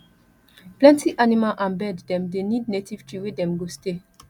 plenty animal and bird dem dey need native tree wey dem go stay